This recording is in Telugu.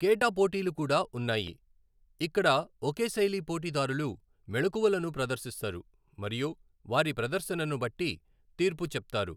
కేటా పోటీలు కూడా ఉన్నాయి, ఇక్కడ ఒకే శైలి పోటీదారులు మెళుకువలను ప్రదర్శిస్తారు మరియు వారి ప్రదర్శనను బట్టి తీర్పు చెప్తారు.